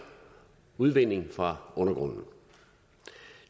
udvinding fra undergrunden